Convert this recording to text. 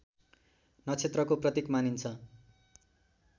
नक्षत्रको प्रतीक मानिन्छ